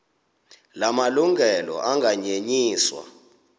la malungelo anganyenyiswa